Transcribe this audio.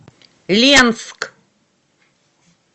ленск